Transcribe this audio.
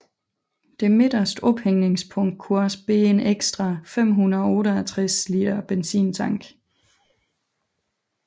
Det midterste ophængningspunkt kunne også bære en ekstra 568 liter benzintank